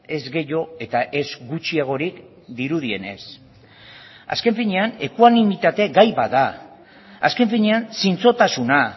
ez gehiago eta ez gutxiagorik dirudienez azken finean ekuanimitate gai bat da azken finean zintzotasuna